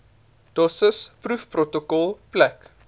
dosis proefprotokol plek